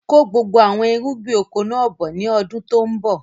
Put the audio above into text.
Kó gbogbo àwọn irúgbìn oko náà bọ̀ ni ọdún tòun bọ̀!